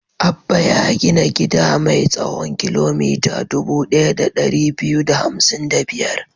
Abba ya gina gida mai tsawon kilomita dubu ɗaya da ɗari biyu da hamsin da biyar.